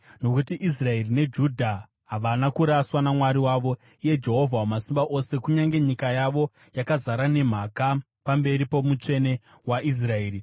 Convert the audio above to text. Nokuti Israeri neJudha havana kuraswa naMwari wavo, iye Jehovha Wamasimba Ose, kunyange nyika yavo yakazara nemhaka pamberi poMutsvene waIsraeri.